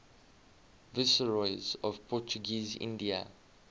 viceroys of portuguese india